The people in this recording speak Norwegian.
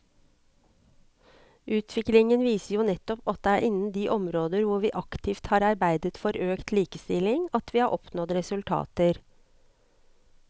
Utviklingen viser jo nettopp at det er innen de områder hvor vi aktivt har arbeidet for økt likestilling at vi har oppnådd resultater.